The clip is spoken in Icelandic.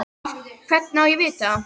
Hvernig á ég að vita það?